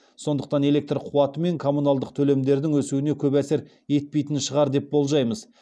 сондықтан электр қуаты мен коммуналдық төлемдердің өсуіне көп әсер етпейтін шығар деп болжаймыз